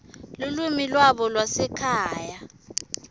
lulwimi lwabo lwasekhaya